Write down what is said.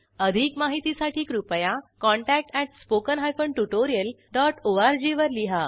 अधिक माहितीसाठी कृपया contact at spoken hyphen tutorial dot ORG वर लिहा